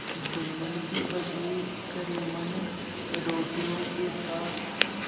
जुम्मन की पत्नी करीमन रोटियों के साथ